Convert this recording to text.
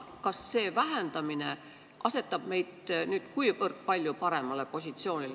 Kas see vähendamine asetab meid palju paremale positsioonile?